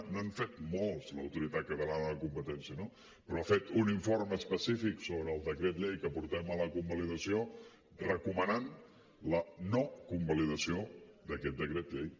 n’ha fet molts l’autoritat catalana de la competència no però ha fet un informe específic sobre el decret llei que portem a la convalidació recomanant la no convalidació d’aquest decret llei